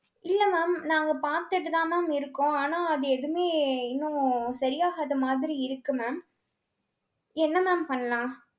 இல்ல mam, நாங்க பார்த்துட்டுதான் mam இருக்கோம். ஆனா, அது எதுவுமே இன்னும் சரியாகாத மாதிரி இருக்கு mam. என்ன mam பண்ணலாம்?